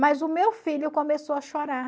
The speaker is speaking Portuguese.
Mas o meu filho começou a chorar.